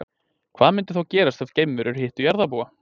Hvað myndi þá gerast ef geimverurnar hittu jarðarbúa?